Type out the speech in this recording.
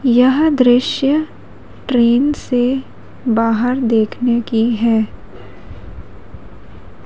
यह दृश्य ट्रेन से बाहर देखने की है।